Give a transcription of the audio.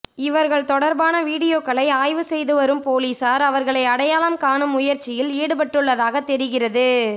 இவர்கள் தொடர்பான வீடியோக்களை ஆய்வு செய்து வரும் பொலிசார் அவர்களை அடையாளம் காணும் முயற்சியில் ஈடுபட்டுள்ளதாக தெரிகிறது